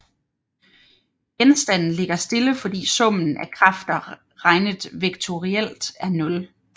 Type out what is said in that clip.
Genstanden ligger stille fordi summen af kræfter regnet vektorielt er nul